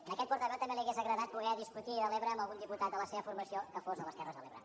a aquest portaveu també li hauria agradat poder discutir de l’ebre amb algun diputat de la seva formació que fos de les terres de l’ebre